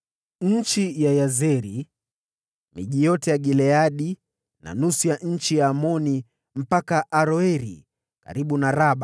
Nchi ya Yazeri, miji yote ya Gileadi na nusu ya nchi ya Amoni iliyoenea hadi Aroeri, karibu na Raba;